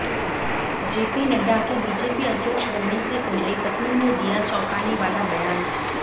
JP Nadda के BJP अध्यक्ष बनने से पहले पत्नी ने दिया चौंकाने वाला बयान